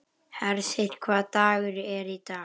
Hersir, hvaða dagur er í dag?